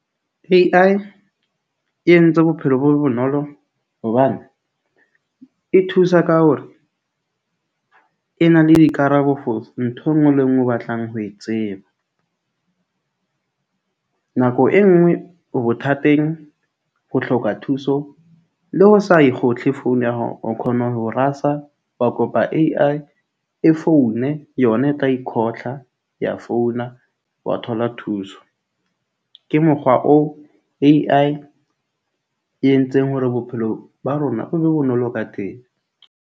A_I e entse bophelo bo be bonolo hobane e thusa ka hore e na le dikarabo for ntho e nngwe le e nngwe o batlang ho e tseba. Nako e nngwe o bothateng o hloka thuso le ho sa e khotle founo ya hao o khona ho rasa, wa kopa A_I e foune. Yona e tla ikhotla ya founa, wa thola thuso. Ke mokgwa oo A_I e entseng hore bophelo ba rona bo be bonolo ka teng.